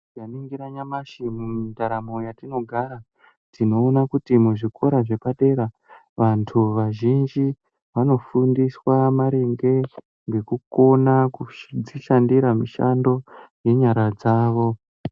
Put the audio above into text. Ndaningira nyamashi mundaramo yatinogara tinoona kuti muzvikora zvepadera vantu vazjinji vanofundiswa maringe ngekukona kudzishandira mushando ngenyara dzavo